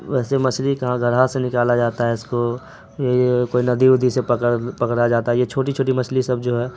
वैसे मछली कहाँ गढ़ा से निकाला जाता है इसको ये कोई नदी-उदी से पकड़-पकड़ा जाता है| ये छोटी-छोटी मछली सब जो है --